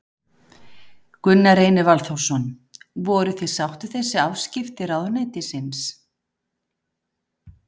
Gunnar Reynir Valþórsson: Voruð þið sátt við þessi afskipti ráðuneytisins?